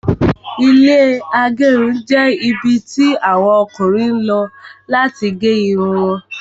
Ilẹ́ agerun jẹ́ ibi tí àwọn Ọkùnrin lọ láti gé Irun wọn